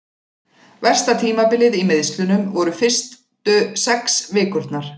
Versta tímabilið í meiðslunum voru fyrstu sex vikurnar.